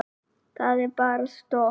Það er bara stopp.